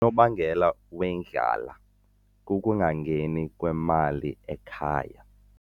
Unobangela wendlala kukungangeni kwemali ekhaya.